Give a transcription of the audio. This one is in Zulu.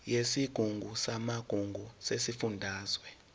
yesigungu samagugu sesifundazwe